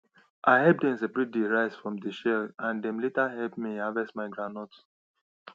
i help dem seperate the rice from the shell and dem later help me harvest my groundnut